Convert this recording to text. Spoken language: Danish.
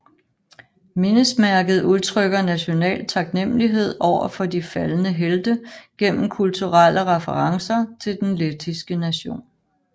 Mindesmærket udtrykker national taknemmelighed over for de faldne helte gennem kulturelle referencer til den lettiske nation